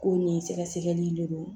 Ko nin sɛgɛsɛgɛli de don